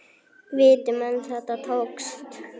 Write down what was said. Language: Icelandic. Viti menn, þetta tókst.